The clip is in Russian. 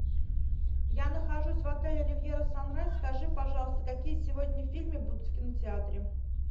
я нахожусь в отеле ривьера санрайз скажи пожалуйста какие сегодня фильмы будут в кинотеатре